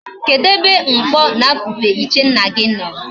Kedu ebe mkpo na akupe ichie nna gi no?